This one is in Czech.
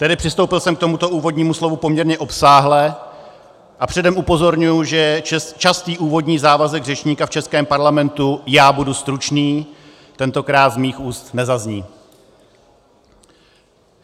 Tedy přistoupil jsem k tomuto úvodnímu slovu poměrně obsáhle a předem upozorňuji, že častý úvodní závazek řečníka v českém parlamentu - já budu stručný - tentokrát z mých úst nezazní.